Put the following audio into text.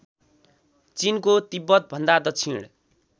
चिनको तिब्बतभन्दा दक्षिण